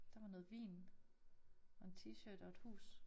Det var noget vin og en t-shirt og et hus